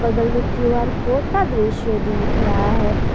बगल में Q R code का दृश्य दिख रहा है।